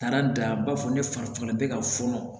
Taara dan b'a fɔ ne farila bɛ ka fɔnɔ